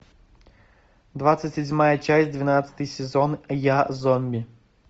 двадцать седьмая часть двенадцатый сезон я зомби